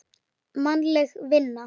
Mannleg vinna